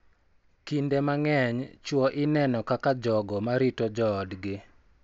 Kinde mang�eny, chwo ineno kaka jogo ma rito joodgi